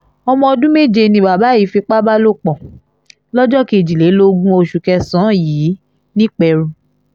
ọmọ ọdún méje ni bàbá yìí fipá bá lò pọ̀ lọ́jọ́ kejìlélógún oṣù kẹsàn-án yìí nìpẹ̀rù